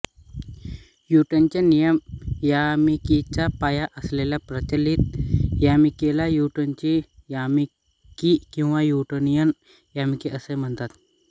न्यूटनचे नियम यामिकीचा पाया असल्याने प्रचलित यामिकीला न्यूटनची यामिकी किंवा न्यूटोनियन यामिकी असेही म्हणतात